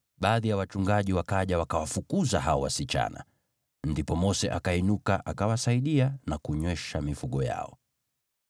Baadhi ya wachungaji wakaja wakawafukuza hao wasichana. Ndipo Mose akainuka, akawasaidia na kunywesha mifugo yao.